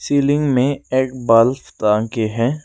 Ceiling में एक bulb टांग के है।